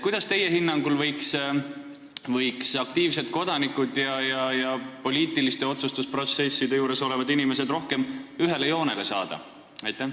Kuidas teie hinnangul võiks aktiivsed kodanikud ja poliitiliste otsustusprotsesside juures olevad inimesed rohkem ühele joonele saada?